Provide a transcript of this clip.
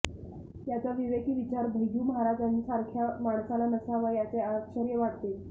याचा विवेकी विचार भैय्यू महाराजांसारख्या माणसाला नसावा याचे आश्चर्य वाटते